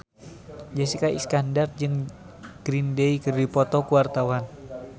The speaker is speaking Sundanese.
Jessica Iskandar jeung Green Day keur dipoto ku wartawan